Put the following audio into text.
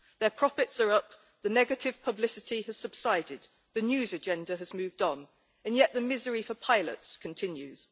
Their profits are up, the negative publicity has subsided, the news agenda has moved on, and yet the misery for pilots continues.